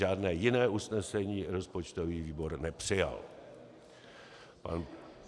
Žádné jiné usnesení rozpočtový výbor nepřijal.